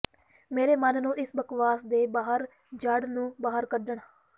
ਮੇਰੇ ਮਨ ਨੂੰ ਇਸ ਬਕਵਾਸ ਦੇ ਬਾਹਰ ਜੜ੍ਹ ਨੂੰ ਬਾਹਰ ਕੱਢਣ